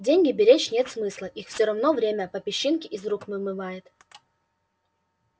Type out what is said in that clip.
деньги беречь нет смысла их всё равно время по песчинке из рук вымывает